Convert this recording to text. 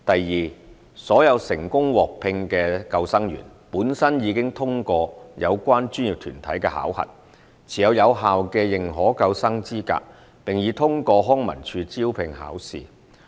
二所有成功獲聘的救生員，本身已通過有關專業團體的考核，持有有效的認可救生資格，並已通過康文署招聘考試。